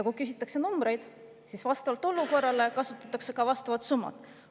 Kui küsitakse numbreid, siis vastavalt olukorrale kasutatakse ka vastavat summat.